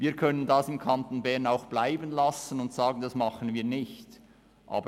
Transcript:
Wir können das im Kanton Bern auch bleiben lassen und sagen, dass wir das nicht machen.